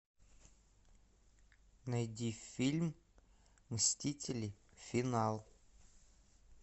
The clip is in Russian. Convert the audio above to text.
найди фильм мстители финал